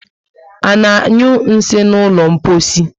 Ana anyu nsị n'ụlọ mposi